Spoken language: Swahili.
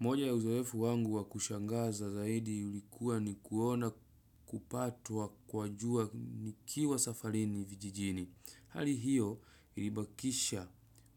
Moja ya uzoefu wangu wa kushangaza zaidi ilikuwa ni kuona kupatwa kwa jua nikiwa safarini vijijini. Hali hiyo ilibakisha